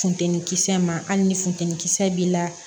Funteni kisɛ ma hali ni funteni kisɛ b'i la